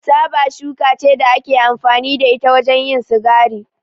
Taba shuka ce da ake amfani da ita wajen yin sigari.